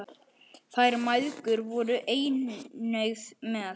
Þær mæðgur voru einnig með.